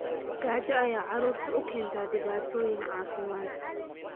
Gaajo ayaa carruurta u keenta dhibaatooyin caafimaad.